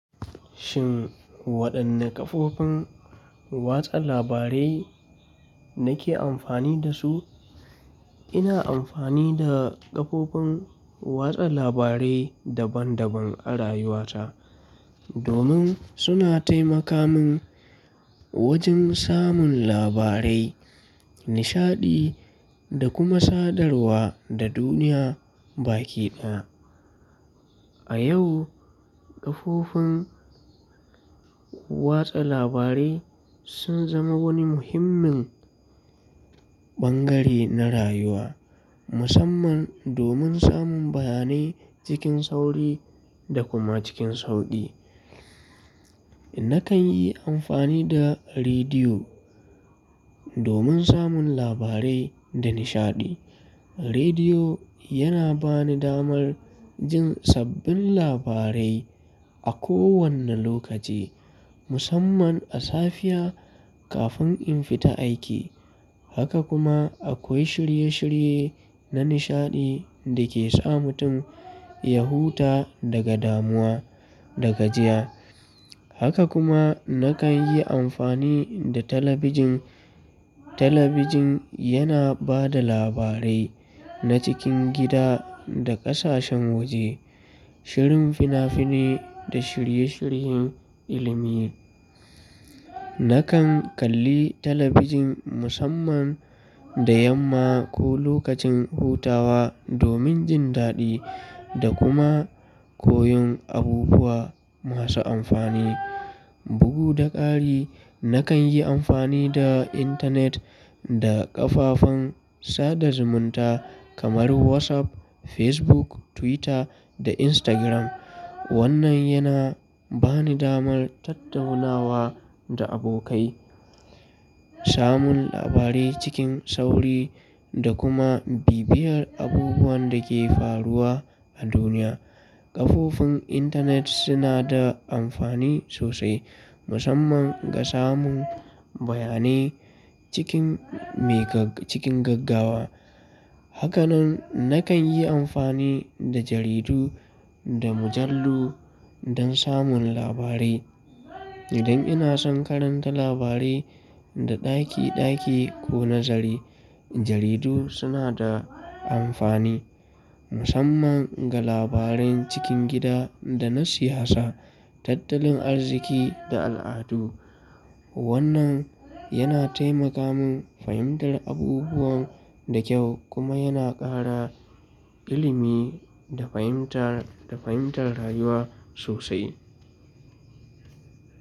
Shin wadanne kafofin watsa labarai nake amfani da su? Ina amfani da kafofin watsa labarai daban daban a rayuwata domin suna taimaka min wajen samun labarai, nishaɗi da kuma sadarwa da duniya baki daya. A yau kafofin watsa labarai sun zama wani muhimmin bangare na rayuwa musamman domin samun bayanai cikin sauri da kuma cikin sauƙi. Nakan yi amfani da rediyo domin samun labarai da nishaɗi. Rediyo yana bani damar jin sabbin labarai a kowane lokaci musamman a safiya kafin in fita aiki. Haka kuma akwai shirye shirye na nishaɗi da ke sa mutum ya huta daga damuwa da gajiya. Haka kuma nakan yi amfani da talabijin. Talabijin yana ba da labarai na cikin gida da ƙasashen waje, shirin fina finai da shirye shiryen ilimi. Nakan kalli talabijin musamman da yamma ko lokacin hutawa domin jin daɗi da kuma koyon abubuwa masu amfani. Bugu da ƙari nakan yi amfani da intanet da kafafen sada zumunta kamar WhatsApp, Facebook, Twitter da Instagram. Wannan yana bani damar tattaunawa da abokai, samun labarai cikin sauri da kuma bibiyar abubuwan da ke faruwa a duniya. Kafofin intanet suna da amfani sosai musamman ga samun bayanai cikin, cikin gaggawa. Haka nan nakan yi amfani da jaridu da mujallu don samun labarai. Idan ina son karanta labarai da ɗaki ɗaki ko nazari, jaridu suna da amfani musamman ga labaran cikin gida da na siyasa, tattalin arziki da al'adu. Wannan yana taimaka min fahimtar abubuwan da kyau kuma yana ƙara ilimi da fahimtar, fahimtar rayuwa sosai.